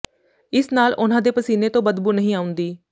ਇਸ ਨਾਲ ਉਨ੍ਹਾਂ ਦੇ ਪਸੀਨੇ ਤੋਂ ਬਦਬੂ ਨਹੀਂ ਆਉਂਦੀ